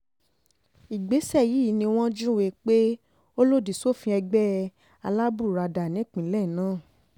ìgbésẹ̀ yìí ni wọ́n júwe pé ó lòdì sófin ẹgbẹ́ alábùradà nípìnlẹ̀ náà